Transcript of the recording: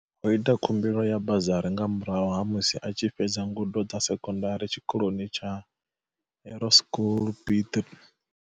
O ita khumbelo ya bazari nga murahu ha musi a tshi fhedza ngudo dza sekondari tshiko loni tsha Hoerskool Piet Retief.